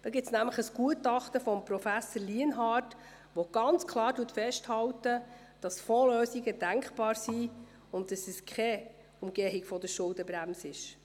Dazu gibt es nämlich ein Gutachten von Professor Lienhard, das klar festhält, dass Fondslösungen denkbar und diese keine Umgehung der Schuldenbremse sind.